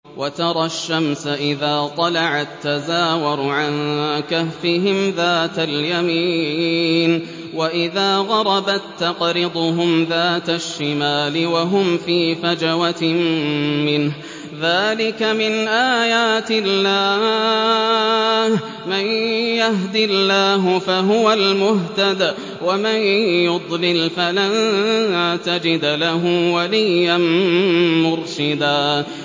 ۞ وَتَرَى الشَّمْسَ إِذَا طَلَعَت تَّزَاوَرُ عَن كَهْفِهِمْ ذَاتَ الْيَمِينِ وَإِذَا غَرَبَت تَّقْرِضُهُمْ ذَاتَ الشِّمَالِ وَهُمْ فِي فَجْوَةٍ مِّنْهُ ۚ ذَٰلِكَ مِنْ آيَاتِ اللَّهِ ۗ مَن يَهْدِ اللَّهُ فَهُوَ الْمُهْتَدِ ۖ وَمَن يُضْلِلْ فَلَن تَجِدَ لَهُ وَلِيًّا مُّرْشِدًا